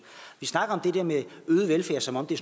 vi snakker det der med øget velfærd som om det